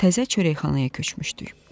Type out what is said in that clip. Təzə çörəkxanaya köçmüşdük.